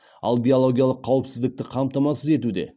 ал биологиялық қауіпсіздікті қамтамасыз етуде